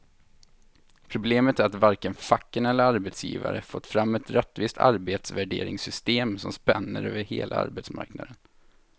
Problemet är att varken facken eller arbetsgivare fått fram ett rättvist arbetsvärderingssystem som spänner över hela arbetsmarknaden.